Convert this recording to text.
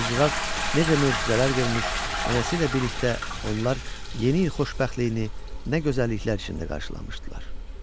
qızcığaz necə möcüzələr görmüş, nənəsi ilə birlikdə onlar yeni il xoşbəxtliyini nə gözəlliklər içində qarşılamışdılar.